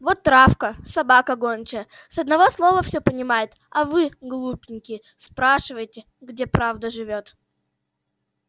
вот травка собака гончая с одного слова всё понимает а вы глупенькие спрашиваете где правда живёт